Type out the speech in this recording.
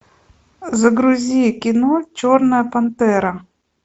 загрузи кино черная пантера